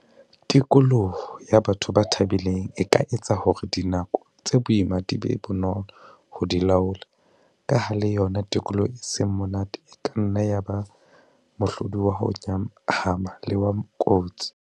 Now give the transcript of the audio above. Tikoloho ya batho ba thabileng e ka etsa hore dinako tse boima di be bonolo ho di laola, ka ha le yona tikoloho e seng monate e ka nna ya ba mohlodi wa ho nyahama le wa kotsi.